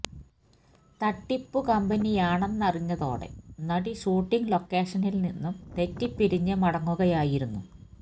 തട്ടിപ്പു കമ്പനിയാണെന്നറിഞ്ഞതോടെ നടി ഷൂട്ടിങ് ലൊക്കെഷനിൽ നിന്നും തെറ്റി പിരിഞ്ഞ് മടങ്ങുകയായിരുന്നു